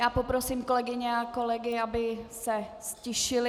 Já poprosím kolegyně a kolegy, aby se ztišili.